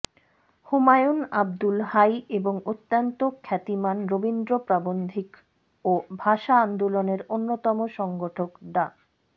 হুমায়ুন আবদুল হাই এবং অত্যন্ত খ্যাতিমান রবীন্দ্র প্রাবন্ধিক ও ভাষা আন্দোলনের অন্যতম সংগঠক ডা